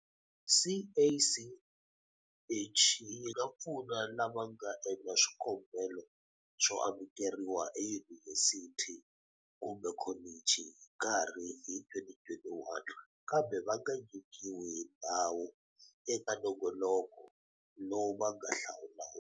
CACH yi nga pfuna lava nga endla swikombelo swo amukeriwa eyunivhesiti kumbe kholichi hi nkarhi hi 2021 kambe va nga nyikiwi ndhawu eka nongoloko lowu va nga hlawula wona.